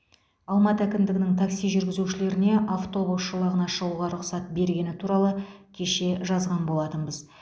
алматы әкімдігінің такси жүргізушілеріне автобус жолағына шығуға рұқсат бергені туралы кеше жазған болатынбыз